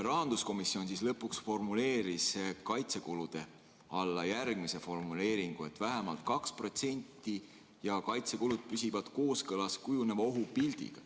Rahanduskomisjon lõpuks formuleeris kaitsekulude all, et kaitsekulud on vähemalt 2% ja püsivad kooskõlas kujuneva ohupildiga.